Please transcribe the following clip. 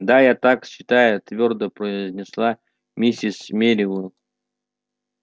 да я так считаю твёрдо произнесла миссис мерриуэзер